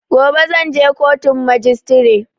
Gobe zan je kotun majistire